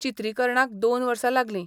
चित्रीकरणाक दोन वर्सा लागली.